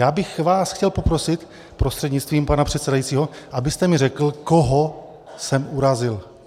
Já bych vás chtěl poprosit prostřednictvím pana předsedajícího, abyste mi řekl, koho jsem urazil.